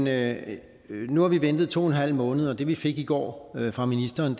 af nu har vi ventet to en halv måned og det vi fik i går fra ministeren